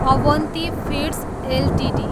Avanti feeds Ltd